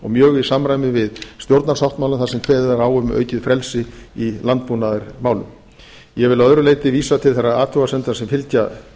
og mjög í samræmi við stjórnarsáttmálann þar sem kveðið er á um aukið frelsi í landbúnaðarmálum ég vil að öðru leyti vísa til þeirra athugasemda sem fylgja